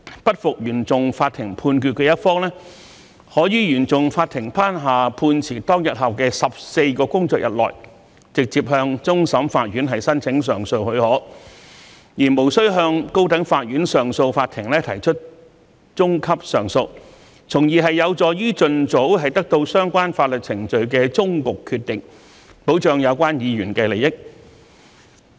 不服原訟法庭判決的一方，可於原訟法庭頒下判詞當天後的14個工作日內，直接向終審法院申請上訴許可，而無須向高等法院上訴法庭提出中級上訴，從而有助於盡早得到相關法律程序的終局決定，保障有關議員的利益。